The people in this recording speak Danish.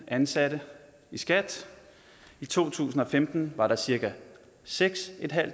ansatte i skat i to tusind og femten var der cirka seks